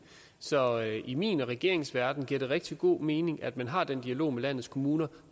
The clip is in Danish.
så i min og regeringens verden giver det rigtig god mening at man har den dialog med landets kommuner